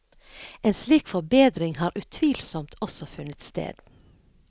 En slik forbedring har utvilsomt også funnet sted.